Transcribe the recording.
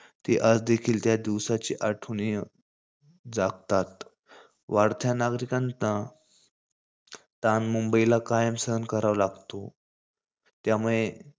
ते आज देखील त्या दिवसाच्या आठवणीने जागतात. वाढत्या नागरिकांना ताण मुंबईला कायम सहन करावा लागतो. त्यामुळे,